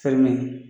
Fɛn min